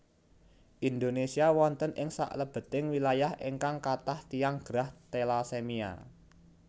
Indonesia wonten ing saklebeting wilayah ingkang kathah tiyang gerah telasemia